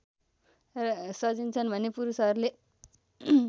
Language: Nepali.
सजिन्छन् भने पुरूषहरूले